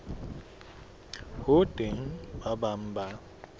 ho teng ba bang ba